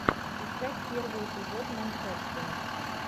искать первый эпизод манхэттен